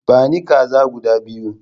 Bani kaza guda biyu!